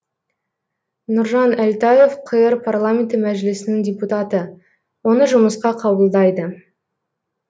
нұржан әлтаев қр парламенті мәжілісінің депутаты оны жұмысқа қабылдайды